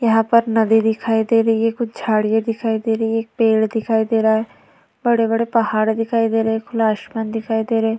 यहाँ पर नदी दिखाई दे रही है कुछ झाड़ियां दिखाई दे रही है पेड़ दिखाई दे रहा है बड़े-बड़े पहाड़ दिखाई दे रहा हैं। खुला आसमान दिखाई दे रही है।